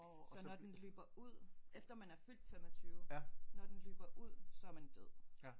Så når den løber ud efter man er fyldt 25 når den løber ud så er man død